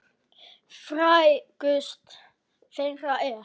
Frægust þeirra er